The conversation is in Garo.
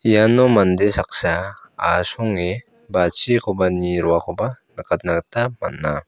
iano mande saksa asonge bachikoba nie roakoba nikatna gita man·a.